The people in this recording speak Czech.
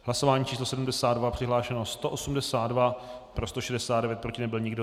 Hlasování číslo 72. Přihlášeno 182, pro 169, proti nebyl nikdo.